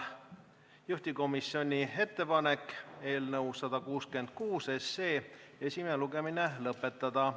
Juhtivkomisjoni ettepanek on eelnõu 166 esimene lugemine lõpetada.